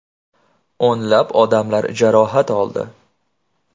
O‘nlab odamlar jarohat oldi.